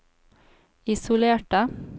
isolerte